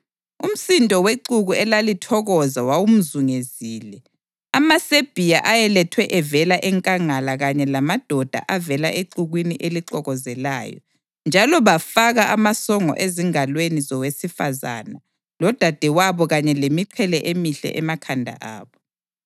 Umsindo wexuku elalithokoza wawumzungezile; amaSebhiya ayelethwe evela enkangala kanye lamadoda avela exukwini elixokozelayo, njalo bafaka amasongo ezingalweni zowesifazane lodadewabo kanye lemiqhele emihle emakhanda abo.